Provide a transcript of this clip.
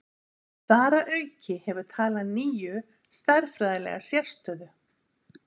Þar að auki hefur talan níu stærðfræðilega sérstöðu.